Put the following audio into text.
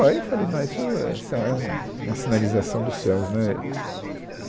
Óh, Aí eu falei, não, isso é isso é um, uma sinalização dos céus, né